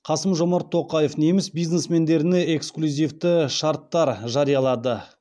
қасым жомарт тоқаев неміс бизнесмендеріне эксклюзивті шарттар жариялады